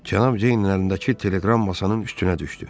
Cənab Ceynin əlindəki teleqram masanın üstünə düşdü.